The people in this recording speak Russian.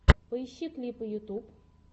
поищи клипы ютюб